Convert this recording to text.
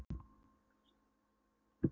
þegar ég brá símanum mínum upp með myndinni af